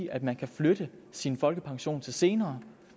at man kan flytte sin folkepension til senere